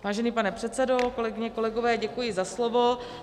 Vážený pane předsedo, kolegyně, kolegové, děkuji za slovo.